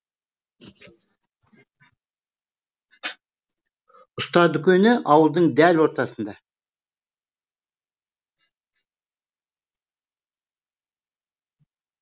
ұста дүкені ауылдың дәл ортасында